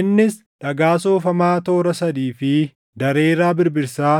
Innis dhagaa soofamaa toora sadii fi dareeraa birbirsaa,